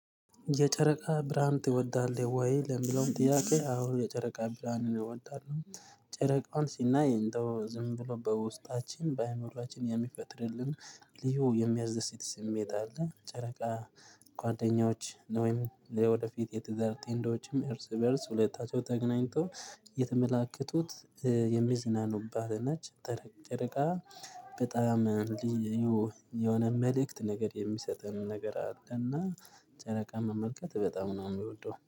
የጨረቃ ብርሃን ትወዳለህ ወይ? ለምለውም ጥያቄ አሁን የጨረቃ ብርሃን እወዳለሁ ጨረቃውን ሲናይ እንደው ዝም ብሎ በውስጣችን በአይምሮችን የሚፈጥርልን ልዩ የሚያስደስት ስሜት አለ። ጨረቃ ጓደኞች ወይም የወደፊት የትዳር ጥንዶች እንደውም እርስ በእርስ ሁለታቸው ተገናኝተው የተመላከቱት የሚዝናኑባት ነች። ጠረቅ ጨረቃ በጣም ልዩ የሆነ መልእክት ነገር የሚሰጠን ነገር አለ። እና ጨረቃ መመልከት በጣም ነው የሚወደው